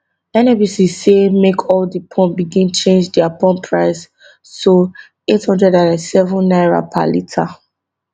nnpc say make all di pump begin change dia pump price to eight hundred ninety seven naira per litre